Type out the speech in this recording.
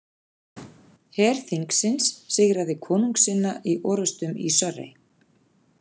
Her þingsins sigraði konungssinna í orustum í Surrey.